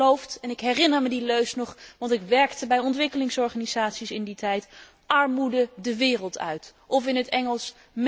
Wij hebben beloofd en ik herinner me die leus nog, want ik werkte bij ontwikkelingsorganisaties in die tijd Armoede de wereld uit, of in het Engels